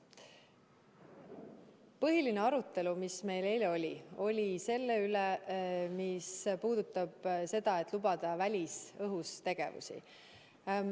Põhiline arutelu, mis meil eile oli, oli selle üle, kas lubada välisõhus tegevusi.